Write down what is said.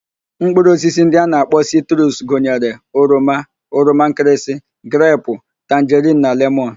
Mkpụrụ osisi ndị a na-akpọ sitrus gụnyere: oroma, oroma nkịrịsị, grepu, tanjerin na lemọn